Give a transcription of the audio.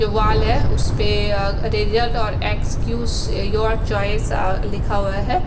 यह वाल है उसपे रिजल्ट और क्सस्युज योआर चोइस लिखा हुआ है।